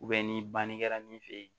ni banni kɛra min fe yen